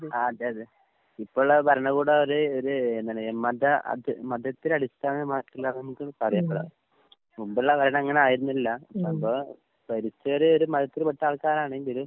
ആഹ് അതെ അതെ. ഇപ്പൊള്ള ഭരണ കൂടം ഒര് ഒര് എന്താണ് മത അത് മതത്തിലടിസ്ഥാനമായിട്ടുള്ള കാര്യങ്ങളാ. മുമ്പുള്ള ഭരണം അങ്ങനെയായിരുന്നില്ല. മുമ്പ് ഭരിച്ചവര് ഒരു മതത്തിൽപ്പെട്ട ആൾക്കാരാണെങ്കിലും